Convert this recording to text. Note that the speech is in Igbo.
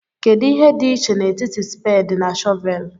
Kedu ihe dị iche n'etiti spedi na shọvelu?